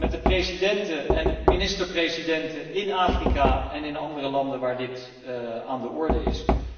met de presidenten en ministerpresidenten in Afrika en in andere landen waar dit aan de orde is.